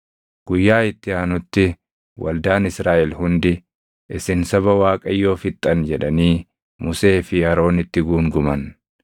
Guyyaa itti aanutti waldaan Israaʼel hundi, “Isin saba Waaqayyoo fixxan” jedhanii Musee fi Aroonitti guunguman.